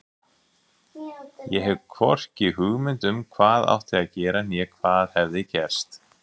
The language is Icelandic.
Ég hafði hvorki hugmynd um hvað átti að gera né hvað hafði gerst.